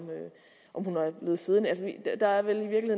om hun er blevet siddende altså der er vel i